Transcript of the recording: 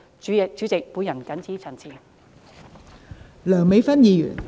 代理主席，我謹此陳辭。